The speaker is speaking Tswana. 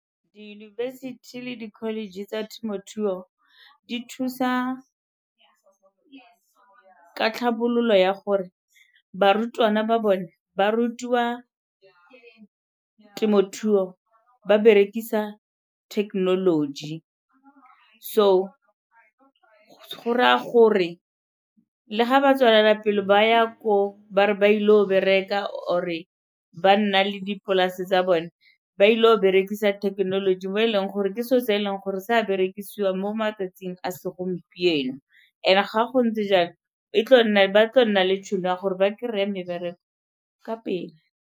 Diyunibesithi le di-college tsa temothuo di thusa ka tlhabololo ya gore barutwana ba bone ba rutiwa temothuo ba berekisa technology. So go raya gore le ga ba tswelela pele ba ya koo ba re ba ile go bereka or-e ba nna le dipolase tsa bone, ba ile go berekisa thekenoloji mo e leng gore ke se'o se e leng gore se a berekisiwa mo matsatsing a segompieno. And-e ga go ntse jalo ba tlo nna le tšhono ya gore ba kry-e mebereko ka pele.